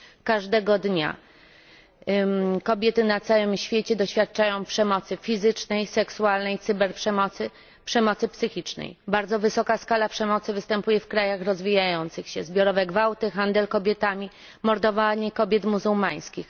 Każdego dnia kobiety na całym świecie doświadczają przemocy fizycznej, seksualnej, cyberprzemocy, przemocy psychicznej. Bardzo wysoka skala przemocy występuje w krajach rozwijających się zbiorowe gwałty, handel kobietami, mordowanie kobiet muzułmańskich.